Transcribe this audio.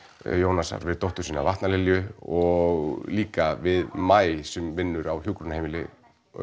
Jónasar við dóttur sína og líka við maí sem vinnur á hjúkrunarheimili